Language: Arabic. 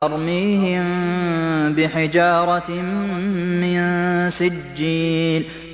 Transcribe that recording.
تَرْمِيهِم بِحِجَارَةٍ مِّن سِجِّيلٍ